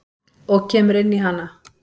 Og kemur inn í hana.